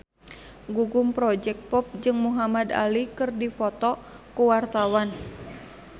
Gugum Project Pop jeung Muhamad Ali keur dipoto ku wartawan